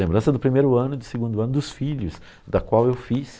Lembrança do primeiro ano, do segundo ano, dos filhos, da qual eu fiz.